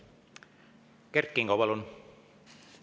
Kert Kingo, palun!